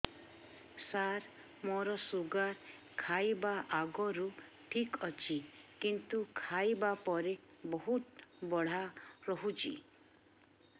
ସାର ମୋର ଶୁଗାର ଖାଇବା ଆଗରୁ ଠିକ ଅଛି କିନ୍ତୁ ଖାଇବା ପରେ ବହୁତ ବଢ଼ା ରହୁଛି